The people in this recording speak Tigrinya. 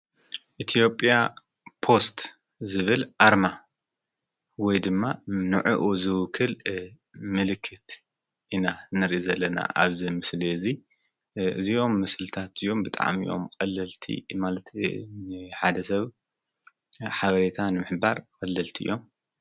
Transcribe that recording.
ኢቲኦጵያ ጶስት ዝብል ኣርማ ወይ ድማ ንዑኡ ዝውክል ምልክት ኢና ነሪ ዘለና ኣብዘ ምስል እዙይ እዘዮም ምስልታት እዮም ብጣም እዮም ቐለልቲ ይማለትን ሓደ ሰብ ሓበሬታን ምሕባር ወለልቲ እዮም።